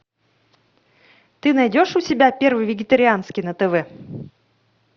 ты найдешь у себя первый вегетарианский на тв